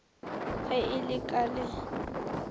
ge e le ka le